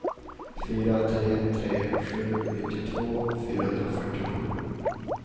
fyra tre tre sju nittiotvå fyrahundrafyrtiosju